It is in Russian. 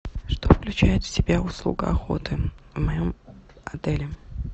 что включает в себя услуга охоты в моем отеле